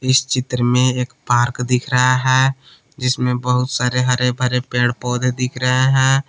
इस चित्र में एक पार्क दिख रहा है जिसमें बहुत सारे हरे भरे पेड़ पौधे दिख रहे हैं।